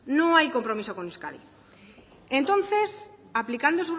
no hay compromiso con euskadi entonces aplicando